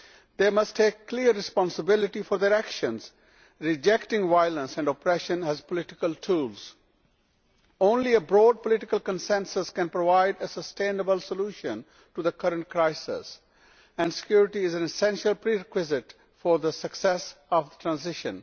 They must take clear responsibility for their actions, rejecting violence and oppression as political tools. Only a broad political consensus can provide a sustainable solution to the current crisis, and security is an essential prerequisite for the success of the transition.